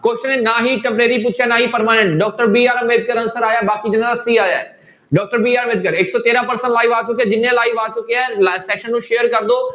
Question ਨੇ ਨਾ ਹੀ temporary ਪੁੱਛਿਆ ਨਾ ਹੀ permanent, doctor BR Ambedkar answer ਆਇਆ ਬਾਕੀ ਜਿਹਨਾਂ ਦਾ c ਆਇਆ ਹੈ doctor BR ਅੰਬੇਦਕਰ ਇੱਕ ਸੌ ਤੇਰਾਂ person ਆ ਚੁੱਕੇ ਆ, ਜਿੰਨੇ live ਆ ਚੁੱਕੇ ਹੈ ਲ~ session ਨੂੰ share ਕਰ ਦਓ।